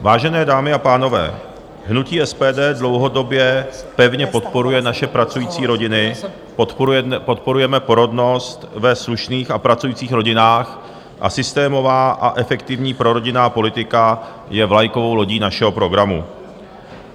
Vážené dámy a pánové, hnutí SPD dlouhodobě pevně podporuje naše pracující rodiny, podporujeme porodnost ve slušných a pracujících rodinách a systémová a efektivní prorodinná politika je vlajkovou lodí našeho programu.